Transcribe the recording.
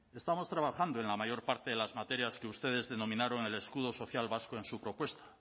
estamos trabajando en la mayor parte de las materias que ustedes denominaron el escudo social vasco en su propuesta